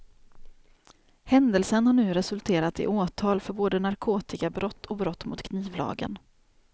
Händelsen har nu resulterat i åtal för både narkotikabrott och brott mot knivlagen.